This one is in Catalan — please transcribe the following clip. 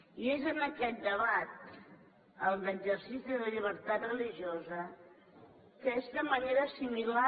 i és en aquest debat el de l’exercici de llibertat religiosa que és de manera similar